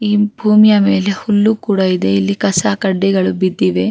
ಈ ಭೂಮಿಯ ಮೇಲೆ ಹುಲ್ಲು ಕೂಡ ಇದೆ ಇಲ್ಲಿ ಕಸ ಕಡ್ಡಿಗಳು ಬಿದ್ದಿವೆ.